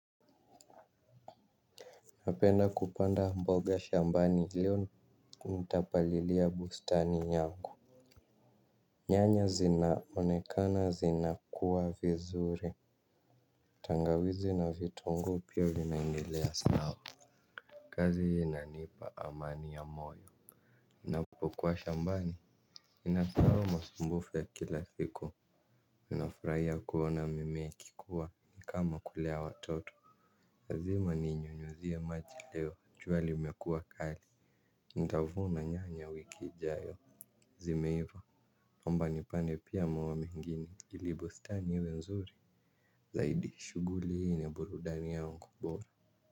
Napenda kupanda mboga shambani leo nitapalilia bustani yangu. Nyanya zinaonekana zina kuwa vizuri tangawizi na vitungu pia vinaendelea sawa. Kazi inanipa amani ya moyo napokuwa shambani ninasahau masumbufu ya kila siku ninafurahia kuona mimi ikikuwa ni kama kulea watoto lazima ninyunyuzie maji leo chua limekua kali ntavuna nyanya wiki ijayo zimeiva omba nipande pia miwa mwingine ili bustani iwe nzuri zaidi shuguli hii ni ya burudani yangu bora.